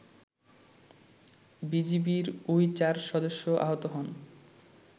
বিজিবির ওই ৪ সদস্য আহত হন